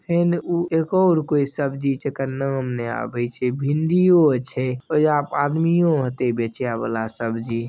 एने उ एक और कोई सब्जी छे जेकर नाम नइ आवी छै भिंडीओ आछे और यहाँ पर आदमी होतइ बेचे वाला सब्जी --